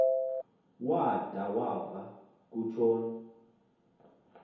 wada wava kutshon